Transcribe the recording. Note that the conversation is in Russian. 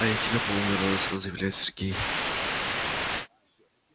а я тебя помню радостно заявляет сергей